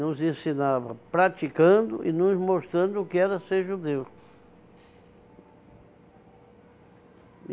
Nos ensinava praticando e nos mostrando o que era ser judeu.